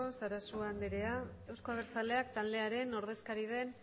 sarasua andrea euzko abertzaleak taldearen ordezkari den